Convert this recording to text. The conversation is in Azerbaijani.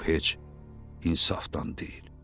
Bu heç insafdan deyil.